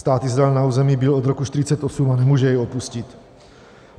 Stát Izrael na území byl od roku 1948 a nemůže jej opustit.